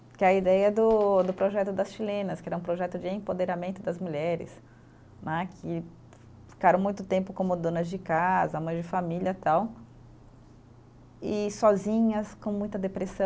Que é a ideia do. do projeto das chilenas, que ele é um projeto de empoderamento das mulheres né, que ficaram muito tempo como donas de casa, mães de família tal, e sozinhas, com muita depressão.